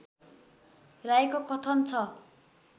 राईको कथन छ